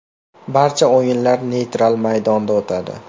Barcha o‘yinlar neytral maydonda o‘tadi.